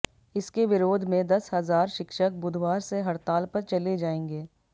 इसके विरोध में दस हज़ार शिक्षक बुधवार से हडताल पर चले जायेंगे